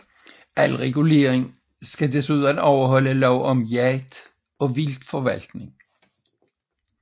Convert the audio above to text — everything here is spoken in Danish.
Al regulering skal desuden overholde lov om jagt og vildtforvaltning